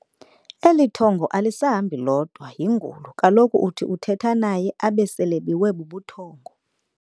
Eli thongo alisahambi lodwa yingulo kaloku uthi uthetha naye abe selebiwe bubuthongo.